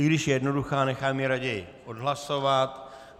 I když je jednoduchá, nechám ji raději odhlasovat.